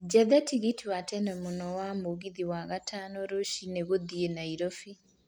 njethe tigiti wa tene mũno wa mũgithi wa gatano rũcinĩ gũthiĩ nairobi